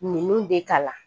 Ninnu bɛ kalan